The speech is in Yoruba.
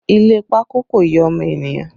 Ile pákó kò yẹ ọmọ ènìyàn